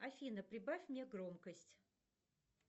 афина прибавь мне громкость